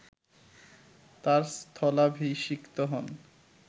তাঁর স্থলাভিষিক্ত হন